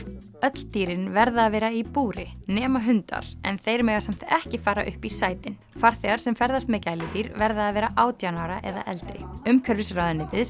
öll dýrin verða að vera í búri nema hundar en þeir mega samt ekki fara upp í sætin farþegar sem ferðast með gæludýr verða að vera átján ára eða eldri umhverfisráðuneytið